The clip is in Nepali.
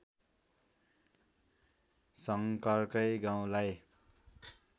शङ्करकै गाउँलाई